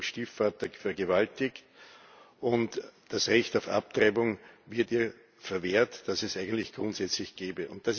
Sie wurde von ihrem Stiefvater vergewaltigt, und das Recht auf Abtreibung wird ihr verwehrt, das es eigentlich grundsätzlich gäbe.